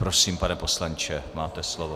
Prosím, pane poslanče, máte slovo.